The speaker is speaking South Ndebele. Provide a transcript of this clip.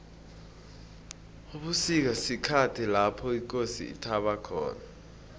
ubusika sikhathi lapho ikosi ithaba khona